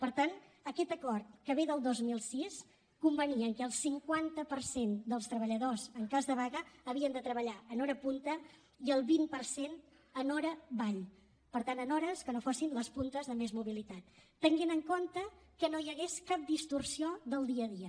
per tant aquest acord que ve del dos mil sis convenia que el cinquanta per cent dels treballadors en cas de vaga havien de treballar en hora punta i el vint per cent en hora vall per tant en hores que no fossin les puntes de més mobilitat tenint en compte que no hi hagués cap distorsió del dia a dia